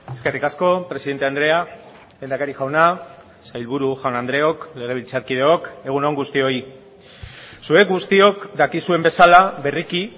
eskerrik asko presidente andrea lehendakari jauna sailburu jaun andreok legebiltzarkideok egun on guztioi zuek guztiok dakizuen bezala berriki